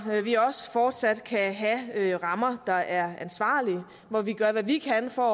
vi også fortsat kan have rammer der er ansvarlige og hvor vi gør hvad vi kan for